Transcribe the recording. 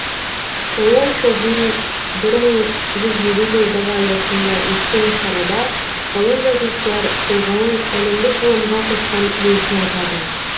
ұлы ойшылдың бір мың жүз елу жылдығы аясында өткен шарада ғалым жазушылар тұлғаның әлемдік ғылымға қосқан үлесін атады